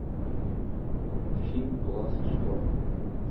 фильм глаз шторма